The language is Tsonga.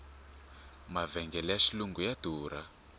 mavhengele ya xilungu ya durha